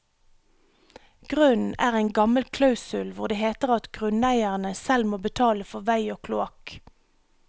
Grunnen er en gammel klausul hvor det heter at grunneierne selv må betale for vei og kloakk.